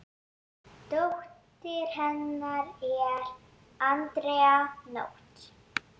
Dóttir hennar er Andrea Nótt.